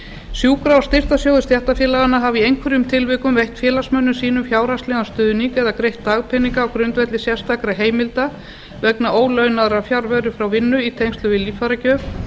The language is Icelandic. sjúkra og styrktarsjóðir stéttarfélaganna hafa í einhverjum tilvikum veitt félagsmönnum sínum fjárhagslegan stuðning eða greitt dagpeninga á grundvelli sérstakra heimilda vegna ólaunaðrar fjarveru frá vinnu í tengslum við líffæragjöf